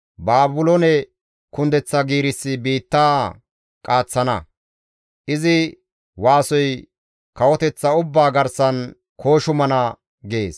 Baabiloone kundeththa giirissi biitta qaaththana; izi waasoy kawoteththa ubbaa garsan kooshumana» gees.